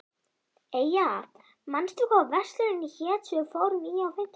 Eyja, manstu hvað verslunin hét sem við fórum í á fimmtudaginn?